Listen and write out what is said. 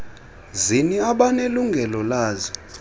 zini abanelungelo lazo